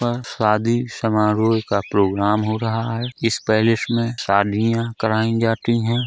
पर शादी समारोह का प्रोग्राम हो रहा है इस पैलेस में शादियां कराईं जाती हैं।